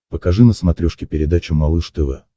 покажи на смотрешке передачу малыш тв